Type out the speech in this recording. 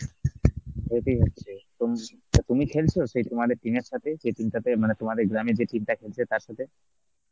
day তেই হচ্ছে. তুম~ তা তুমি খেলছো সেই তোমাদের team এর সাথে যে team টাতে মানে তোমাদের গ্রামে যে team টা খেলছে তার সাথে?